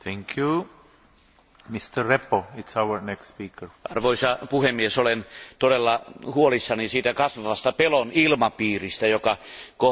Arvoisa puhemies, olen todella huolissani siitä kasvavasta pelon ilmapiiristä, joka kohdistuu ihmisoikeuspuolustajiin Venäjällä.